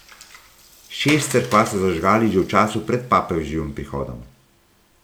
Šest cerkva so zažgali že v času pred papeževim prihodom.